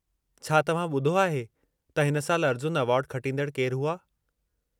छा तव्हां ॿुधो आहे त हिन साल अर्जुन एवार्डु खटींदड़ केर हुआ?